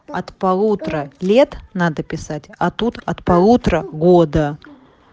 от полутора лет надо писать а тут от полутора года